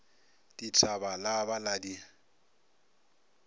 dithaba la ba la di